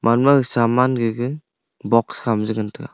age ma gaga saman gaga box kha ma je ngan tega.